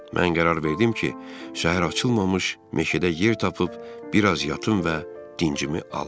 Mən qərar verdim ki, səhər açılmamış meşədə yer tapıb biraz yatım və dincimi alım.